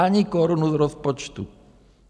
Ani korunu z rozpočtu.